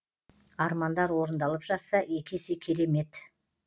армандар орындалып жатса екі есе керемет